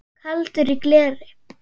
Kaldur í gleri